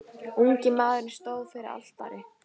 Ungi maðurinn stóð fyrir altari.